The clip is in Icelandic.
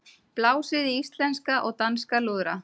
Blásið í íslenska og danska lúðra